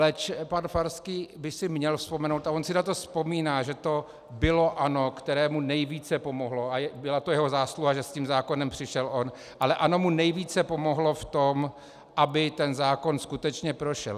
Leč pan Farský by si měl vzpomenout, a on si na to vzpomíná, že to bylo ANO, které mu nejvíce pomohlo, a byla to jeho zásluha, že s tím zákonem přišel on, ale ANO mu nejvíce pomohlo v tom, aby ten zákon skutečně prošel.